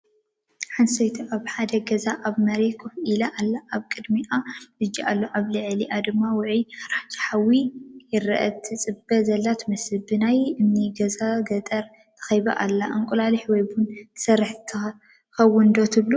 ሓንቲ ሰበይቲ ኣብ ሓደ ገዛ ኣብ መሬት ኮፍ ኢላ ኣላ። ኣብ ቅድሚኣ ምድጃ ኣሎ፡ ኣብ ልዕሊኣ ድማ ውዑይ ኣራንሺ ሓዊ ይርአ። ትጽበ ዘላ ትመስል። ብናይ እምኒ ገዛን ገጠርን ተኸቢባ ኣላ፡፡ እንቋቑሖ ወይ ቡን ትሰርሕ ትኸውን ዶ ትብል?